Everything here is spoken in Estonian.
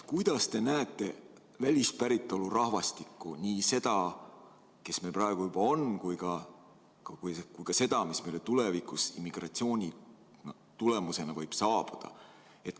Kuidas te näete välispäritolu rahvastikku, nii seda, kes meil praegu juba on, kui ka seda, kes meile tulevikus immigratsiooni tulemusena võib saabuda?